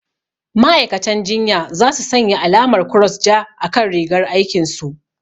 Ma'aikatan jinya za su sanya alamar kross ja a kan rigar aikin su